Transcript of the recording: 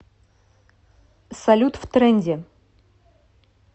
салют в тренде